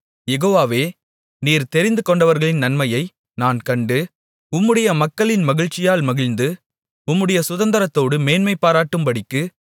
யெகோவாவே நீர் தெரிந்துகொண்டவர்களின் நன்மையை நான் கண்டு உம்முடைய மக்களின் மகிழ்ச்சியால் மகிழ்ந்து உம்முடைய சுதந்தரத்தோடு மேன்மைபாராட்டும்படிக்கு